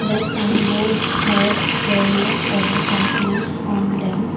The sign boards have various advertisements on them.